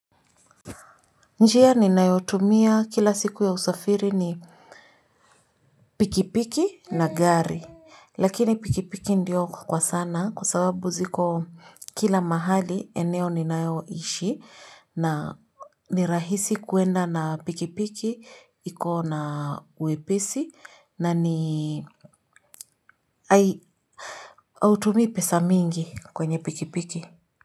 Njia ninayotumia kila siku ya usafiri ni pikipiki na gari lakini pikipiki ndio kwa sana kwa sababu ziko kila mahali eneo ninayoishi na ni rahisi kuenda na pikipiki iko na uwepesi na ni hautumii pesa mingi kwenye pikipiki.